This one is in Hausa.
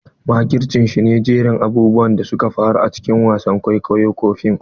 Makirci shi ne jerin abubuwan da suka faru a cikin wasan kwaikwayo ko fim.